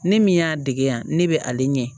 Ne min y'a dege yan ne bɛ ale ɲɛ